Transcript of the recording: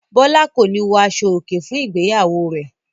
Bọ́lá kò ní wọ aṣọòkè fún ìgbéyàwó rẹ̀.